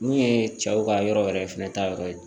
Mun ye cɛw ka yɔrɔ yɛrɛ fɛnɛ ta yɔrɔ ye